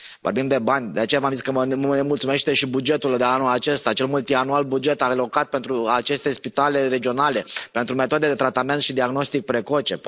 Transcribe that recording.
Vorbim de bani, de aceea v am zis că mă nemulțumește și bugetul de anul acesta, cel multianual, buget alocat pentru aceste spitale regionale, pentru metodele de tratament și diagnostic precoce.